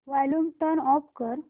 volume turn off कर